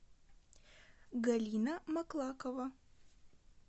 галина маклакова